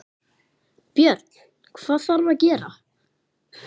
Björn: Hvað þarf að gera?